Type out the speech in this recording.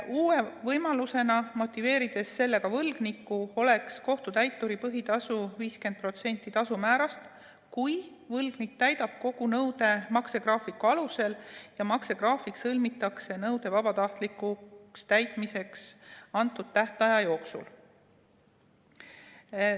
Uue võimalusena, motiveerides sellega võlgnikku, oleks kohtutäituri põhitasu 50% tasumäärast, kui võlgnik täidab kogu nõude maksegraafiku alusel ja maksegraafik sõlmitakse nõude vabatahtlikuks täitmiseks antud tähtaja jooksul.